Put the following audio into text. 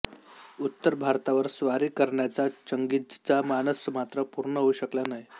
उत्तर भारतावर स्वारी करण्याचा चंगीझचा मानस मात्र पूर्ण होऊ शकला नाही